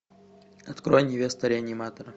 открой невеста реаниматора